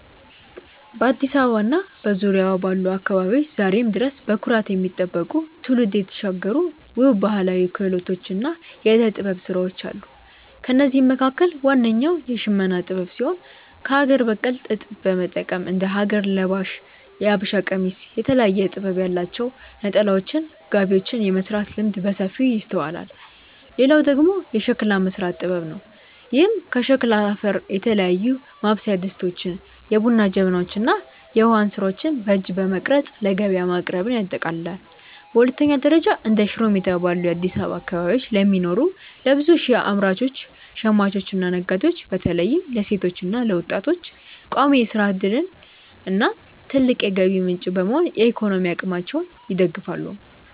በአዲስ አበባ እና በዙሪያዋ ባሉ አካባቢዎች ዛሬም ድረስ በኩራት የሚጠበቁ፣ ትውልድ የተሻገሩ ውብ ባህላዊ ክህሎቶችና የዕደ-ጥበብ ሥራዎች አሉ። ከእነዚህም መካከል ዋነኛው የሽመና ጥበብ ሲሆን፣ ከአገር በቀል ጥጥ በመጠቀም እንደ ሀገር ለባሽ (የሀበሻ ቀሚስ)፣ የተለያየ ጥበብ ያላቸው ነጠላዎችና ጋቢዎችን የመሥራት ልምድ በሰፊው ይስተዋላል። ሌላው ደግሞ የሸክላ መሥራት ጥበብ ነው፤ ይህም ከሸክላ አፈር የተለያዩ ማብሰያ ድስቶችን፣ የቡና ጀበናዎችን እና የውሃ እንስራዎችን በእጅ በመቅረጽ ለገበያ ማቅረብን ያጠቃልላል። በሁለተኛ ደረጃ፣ እንደ ሽሮ ሜዳ ባሉ የአዲስ አበባ አካባቢዎች ለሚኖሩ ለብዙ ሺህ አምራቾች፣ ሽማኞችና ነጋዴዎች (በተለይም ለሴቶችና ለወጣቶች) ቋሚ የሥራ ዕድልና ትልቅ የገቢ ምንጭ በመሆን የኢኮኖሚ አቅማቸውን ይደግፋሉ።